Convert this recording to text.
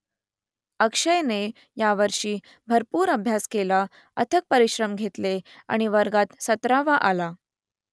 अक्षयने यावर्षी भरपूर अभ्यास केला अथक परिश्रम घेतले आणि वर्गात सतरावा आला